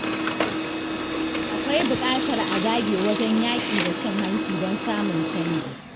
Akwai buƙatar a dage wajen yaƙi da cin hanci don samun canji.